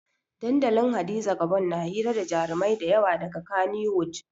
Dandalin hadiza gabon na hira da jarumai dayawa daga kaniwud